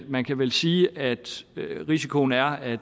man kan vel sige at risikoen er at